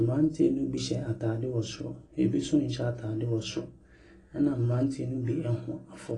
Mberantiɛ ne bi hyɛ ntaade wɔ soro ebi so nhyɛ ataade wɔ soro ɛnaberantiɛ ne bi ɛho afɔ.